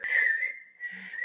Þá berst maður af meiri hörku.